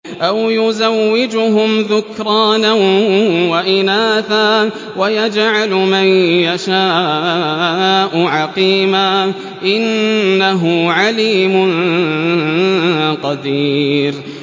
أَوْ يُزَوِّجُهُمْ ذُكْرَانًا وَإِنَاثًا ۖ وَيَجْعَلُ مَن يَشَاءُ عَقِيمًا ۚ إِنَّهُ عَلِيمٌ قَدِيرٌ